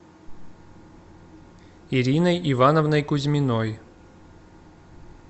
ириной ивановной кузьминой